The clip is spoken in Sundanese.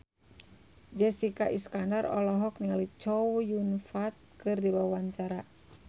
Jessica Iskandar olohok ningali Chow Yun Fat keur diwawancara